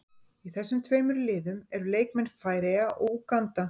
Í þessum tveimur liðum eru leikmenn Færeyja og Úganda.